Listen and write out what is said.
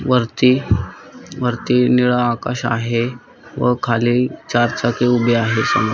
वरती वरती निळा आकाश आहे व खाली चारचाकी उभे आहे समोर.